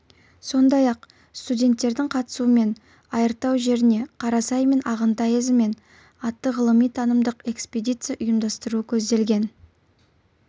сондай-ақ студенттердің қатысуымен айыртау жеріне қарасай мен ағынтай ізімен атты ғылыми танымдық экспедиция ұйымдастыру көзделген